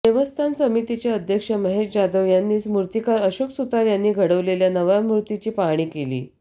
देवस्थान समितीचे अध्यक्ष महेश जाधव यांनीच मूर्तिकार अशोक सुतार यांनी घडवलेल्या नव्या मूर्तीची पाहणी केली